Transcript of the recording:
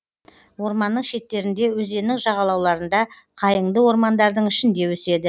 орманның шеттерінде өзеннің жағалауларында қайыңды ормандардың ішінде өседі